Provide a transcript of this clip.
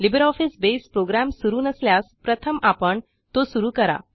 LibreOffice बसे program सुरू नसल्यास प्रथम आपण तो सुरू करा